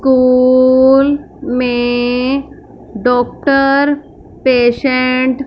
call में doctor patient --